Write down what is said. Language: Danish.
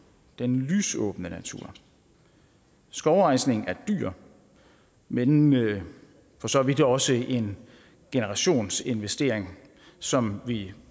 den lysåbne natur skovrejsning er dyr men jo for så vidt også en generationsinvestering som vi